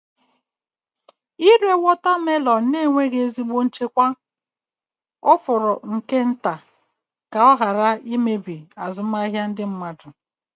Ịre watermelons na-enweghị ezigbo nchekwa ọ fọrọ nke nta ka ọ ghara imebi azụmahịa ndị mmadụ.